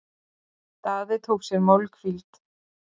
Daði tók sér málhvíld.